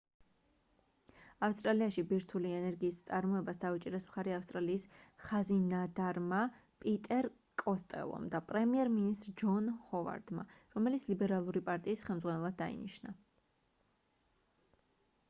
ავსტრალიაში ბირთვული ენერგიის წარმოებას დაუჭირეს მხარი ავსტრალიის ხაზინადარმა პიტერ კოსტელომ და პრემიერ მინისტრ ჯონ ჰოვარდმა რომელიც ლიბერალური პარტიის ხელმძღვანელად დაინიშნა